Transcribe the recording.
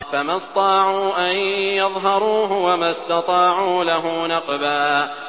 فَمَا اسْطَاعُوا أَن يَظْهَرُوهُ وَمَا اسْتَطَاعُوا لَهُ نَقْبًا